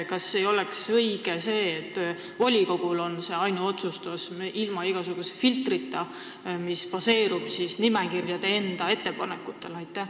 Kas ei oleks õige, et volikogul oleks ilma igasuguse filtrita ainuotsustusõigus, mis baseerub nimekirjade enda ettepanekutel?